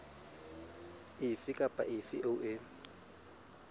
efe kapa efe eo e